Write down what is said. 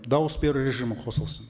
дауыс беру режимі қосылсын